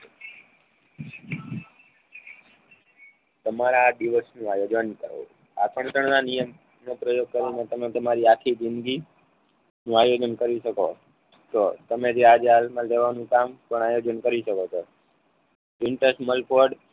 તમારા આ ડીવોશનું આયોજન કરો આકર્ષણના નિયમનો પ્રયોગ કરીને તમે તમારી આખી જિંદગી નું આયોજન કરી શકો તો તમે જે આજે હાલમાં લેવાનું કામ પણ આયોજન કરી શકો છો. ભીંતસમલકોડ